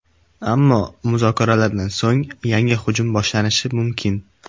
Ammo muzokaralardan so‘ng yangi hujum boshlanishi mumkin.